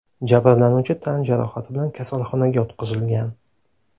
Jabrlanuvchi tan jarohati bilan kasalxonaga yotqizilgan.